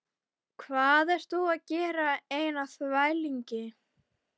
Hvað ert þú að gera svona einn á þvælingi?